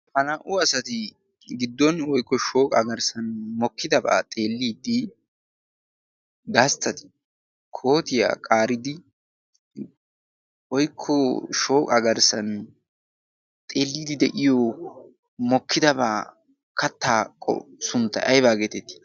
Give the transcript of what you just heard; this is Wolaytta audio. ha naa77u asati giddon oiko shooqagarssan mokkidabaa xeelliiddi gaasttati kootiyaa qaaridi oikko shooqagarssan xeelliidi de7iyo mokkidabaa kattaa qo sunttai aibaageetettii?